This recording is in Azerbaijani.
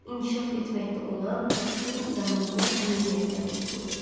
İnkişaf etməkdə olan kəskin izah olunmaz anemiya diaqnozu qoydu.